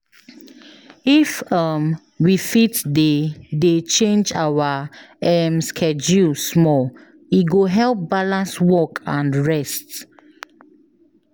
If um we fit dey dey change our um schedule small, e go help balance work and rest.